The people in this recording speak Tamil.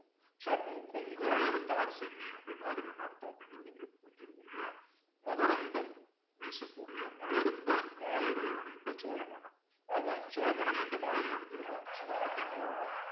so அப்போ கொங்கலர்த்தார்ச் சென்னி அப்படின்னா, அதுக்கு என்ன அர்த்தம் அப்படிங்கறது உங்களுக்கு புரிஞ்சிருக்கும் இல்லையா மகரந்தம் வீசக்கூடிய மலர்ந்த மாலைகளை அணிந்த சோழ மன்னன் அவன் சோழ மன்னர் எந்த மாலைகள் ஆத்தி மலர்தான்